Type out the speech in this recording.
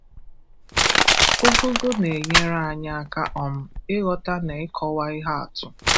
Ụgụgụ na-enyèrè anyị àkà um ịghọta na ịkọwa ihe atụ.